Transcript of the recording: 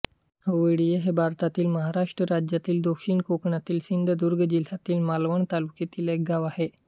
ओवळीये हे भारतातील महाराष्ट्र राज्यातील दक्षिण कोकणातील सिंधुदुर्ग जिल्ह्यातील मालवण तालुक्यातील एक गाव आहे